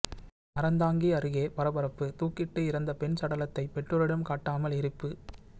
அறந்தாங்கி அருகே பரபரப்பு தூக்கிட்டு இறந்த பெண் சடலத்தை பெற்றோரிடம் காட்டாமல் எரிப்பு